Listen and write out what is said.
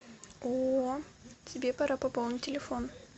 о тебе пора пополнить телефон